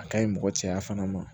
A ka ɲi mɔgɔ cɛya fana ma